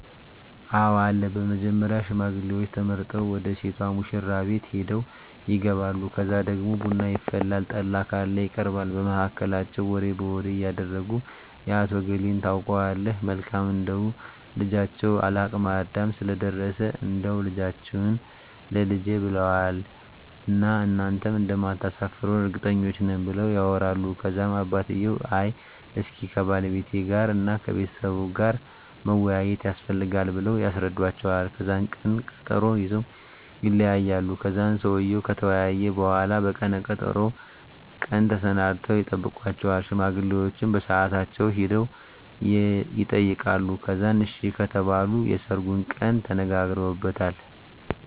አወ አለ በመጀመሪያ ሽማግሌዎች ተመርጠው ወደ ሴቷ ሙሽራቤት ሄደው ይጋባሉ ከዛ ደግሞ ቡና ይፈላል ጠላ ካለ ይቀርባል በመሀከላቸው ወሬ በወሬ እያረጉ የአቶ እገሌን ታውቀዋለህ መልካም እንደው ልጃቸው ለአቅመ አዳም ስለደረሰ እንዳው ልጃችህን ላልጄ ብለውዋን እና እናንተም እንደማታሰፍሩን እርግጠኞች ነን ብለው ያወራሉ ከዛም አባትየው አይ እስኪ ከባለቤቴ ጋር እና ከቤተሰቡ ጋር መወያያት የስፈልጋል ብለው ያስረዱዎቸዋል ከዛን ቀነ ቀጠሮ ይዘወ ይለያያሉ ከዛን ሰውየው ከተወያየ በሁላ በቀነ ቀጠሮው ቀን ተሰናድተው ይጠብቃቸዋል ሽማግሌዎቸ በሳአታቸው ሄደው የጠይቃሉ ከዛን አሺ ከተባሉ የሰርጉን ቀን ተነጋግረውበታል